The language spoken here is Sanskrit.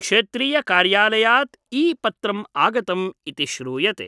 क्षेत्रीय कार्यालयात् ईपत्रम् आगतम् इति श्रूयते ।